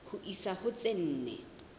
ho isa ho tse nne